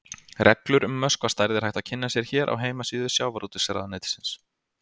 Reglur um möskvastærð er hægt að kynna sér hér á heimasíðu Sjávarútvegsráðuneytisins.